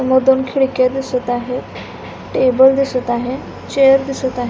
व दोन खिडक्या दिसत आहेत टेबल दिसत आहे चेअर दिसत आहे.